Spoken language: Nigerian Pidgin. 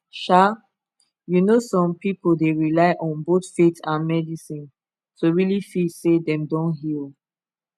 um you know some people dey rely on both faith and medicine to really feel say dem don heal